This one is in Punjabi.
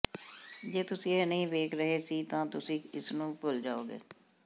ਜੇ ਤੁਸੀਂ ਇਹ ਨਹੀਂ ਵੇਖ ਰਹੇ ਸੀ ਤਾਂ ਤੁਸੀਂ ਇਸ ਨੂੰ ਭੁੱਲ ਜਾਓਗੇ